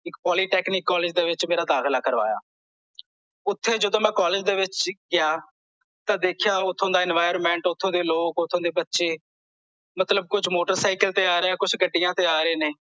ਇੱਕ polytechnic college ਦੇ ਵਿੱਚ ਮੇਰਾ ਦਾਖਿਲ ਕਰਵਾਇਆ ਓਥੇ ਜਦੋਂ ਮੈਂ ਕਾਲਜ ਦੇ ਵਿੱਚ ਗਿਆ ਤਾਂ ਦੇਖਿਆ ਓਥੋਂ ਦਾ environment ਓਥੋਂ ਦੇ ਲੋਕ ਓਥੋਂ ਦੇ ਬੱਚੇ ਮਤਲਬ ਕੁਛ ਮੋਟਰਸਾਈਕਲ ਤੇ ਆ ਰਹੇ ਕੁਛ ਗੱਡੀਆਂ ਤੇ ਆ ਰਹੇ ਨੇ